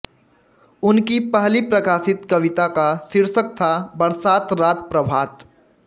उनकी पहली प्रकाशित कविता का शीर्षक था बरसात रात प्रभात